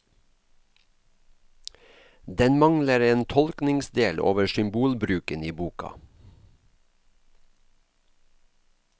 Den mangler en tolkningsdel over symbolbruken i boka.